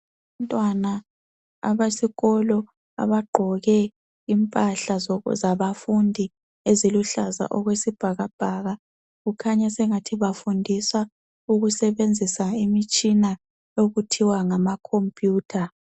Abantwana abesikolo abagqoke impahla zokuzabafundi eziluhlaza okwesibhakabhaka kukhanya sengathi bafundiswa ukusebenzisa imitshina okuthiwa ngamakhompiyutha.